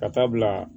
Ka taa bila